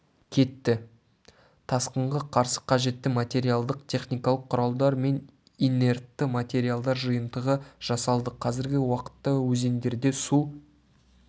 кетті тасқынға қарсы қажетті материалдық-техникалық құралдар мен инертті материалдар жиынтығы жасалды қазіргі уақытта өзендерде су